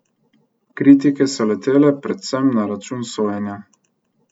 Kritike so letele predvsem na račun sojenja.